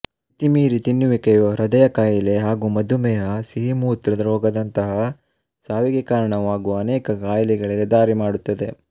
ಮಿತಿಮೀರಿ ತಿನ್ನುವಿಕೆಯು ಹೃದಯ ಕಾಯಿಲೆ ಹಾಗೂ ಮಧುಮೇಹಸಿಹಿಮೂತ್ರರೋಗದಂತಹಾ ಸಾವಿಗೆ ಕಾರಣವಾಗುವ ಅನೇಕ ಕಾಯಿಲೆಗಳಿಗೆ ದಾರಿ ಮಾಡುತ್ತದೆ